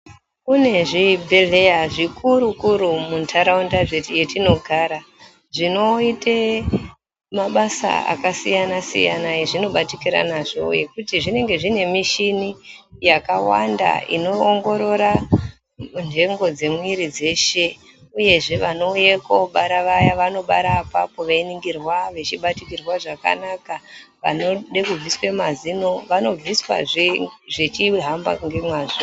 Kune zvibhedhleya zvikuru kuru muntaraunda yetinogara zvinoite mabasa akasiyana-siyana ezvino batikire nazvo ekuti zvinenge zvine michini yakawanda inoongorora ndhengo dzemwiri dzeshe uyezve vanouya koobara vaya vanobara apapo veiningirwa vechibatikirwa zvakanaka, vanode kubviswa mazino vanobviswazve zvechihamba ngemwazvo